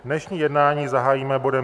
Dnešní jednání zahájíme bodem